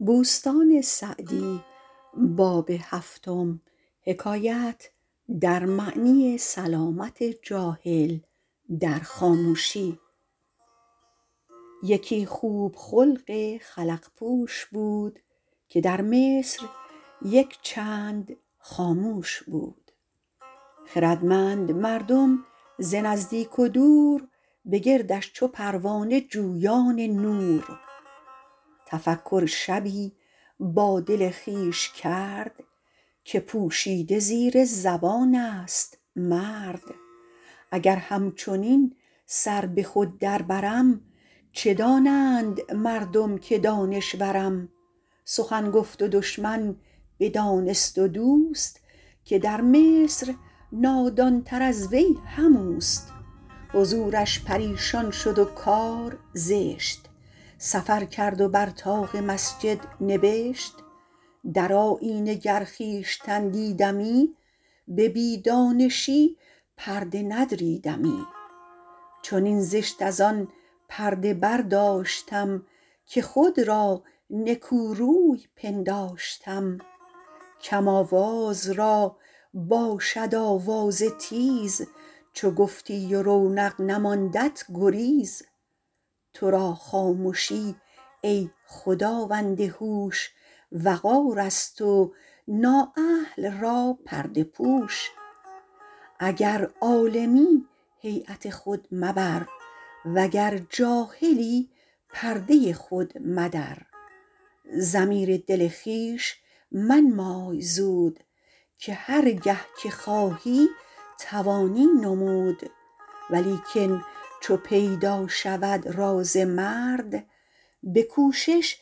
یکی خوب خلق خلق پوش بود که در مصر یک چند خاموش بود خردمند مردم ز نزدیک و دور به گردش چو پروانه جویان نور تفکر شبی با دل خویش کرد که پوشیده زیر زبان است مرد اگر همچنین سر به خود در برم چه دانند مردم که دانشورم سخن گفت و دشمن بدانست و دوست که در مصر نادان تر از وی هم اوست حضورش پریشان شد و کار زشت سفر کرد و بر طاق مسجد نبشت در آیینه گر خویشتن دیدمی به بی دانشی پرده ندریدمی چنین زشت از آن پرده برداشتم که خود را نکو روی پنداشتم کم آواز را باشد آوازه تیز چو گفتی و رونق نماندت گریز تو را خامشی ای خداوند هوش وقار است و نا اهل را پرده پوش اگر عالمی هیبت خود مبر وگر جاهلی پرده خود مدر ضمیر دل خویش منمای زود که هر گه که خواهی توانی نمود ولیکن چو پیدا شود راز مرد به کوشش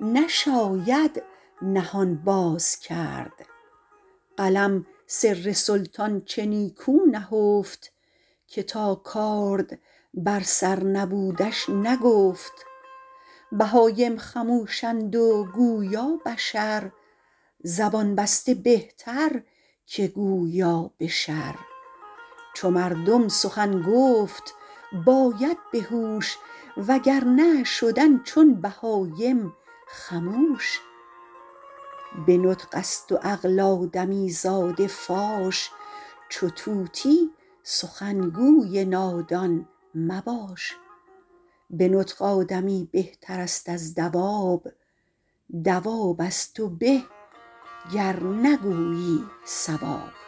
نشاید نهان باز کرد قلم سر سلطان چه نیکو نهفت که تا کارد بر سر نبودش نگفت بهایم خموشند و گویا بشر زبان بسته بهتر که گویا به شر چو مردم سخن گفت باید به هوش و گر نه شدن چون بهایم خموش به نطق است و عقل آدمی زاده فاش چو طوطی سخنگوی نادان مباش به نطق آدمی بهتر است از دواب دواب از تو به گر نگویی صواب